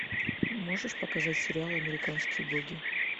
можешь показать сериал американские боги